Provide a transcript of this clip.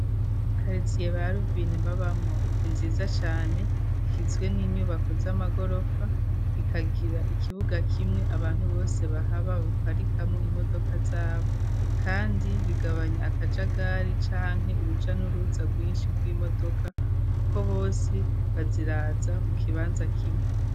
karitsiye ba ruvine babamwo ni nziza cane, igizwe n'inyubako z'amagorofa bikagira ikibuga kimwe abantu bose bahaba baparikamo imodoka zabo kandi bigabanya akajagari canke uruja n'uruza rwinshi rw'imodoka kuko bose baziraza mu kibanza kimwe.